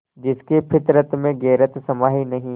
जिसकी फितरत में गैरत समाई नहीं